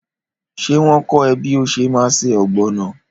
Ṣé wọn kọ́ ẹ bí o ṣe má ṣe Ọ̀gbọ̀nọ̀?